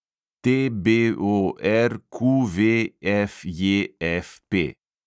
TBORQVFJFP